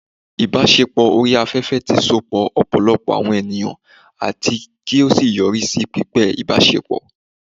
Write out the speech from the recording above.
ibaṣepọ ori afefe ti sopọ ọpọlọpọ awọn eniyan ati ki o yori si pípẹ ibasepo